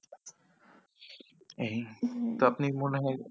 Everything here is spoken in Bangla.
এই হ্যাঁ তো আপনি মনে হয়